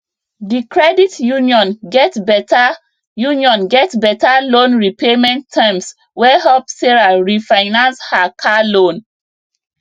di credit union get better union get better loan repayment terms wey help sarah refinance her car loan